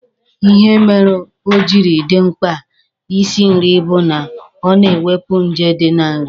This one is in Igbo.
Ihe merenụ o jiri dị mma Ị sị nri bụ na o na-ewepu nje dị na nri.